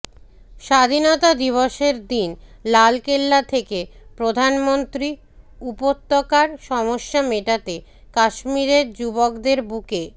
স্বাধীনতা দিবসের দিন লালকেল্লা থেকে প্রধানমন্ত্রী উপত্যকার সমস্যা মেটাতে কাশ্মীরের যুবকদের বুকে